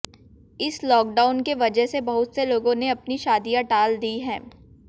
इस लॉकडाउन के वजह से बहुत से लोगों ने अपनी शादियां टाल दी हैं